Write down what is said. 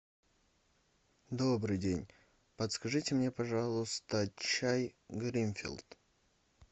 добрый день подскажите мне пожалуйста чай гринфилд